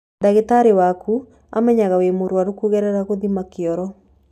Ndagĩtarĩ waku amenyaga wĩ mũrwaru kũgerera gũthima kĩoro.